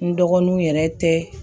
N dɔgɔnunw yɛrɛ tɛ